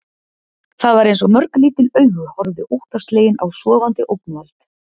Það var eins og mörg lítil augu horfðu óttaslegin á sofandi ógnvald.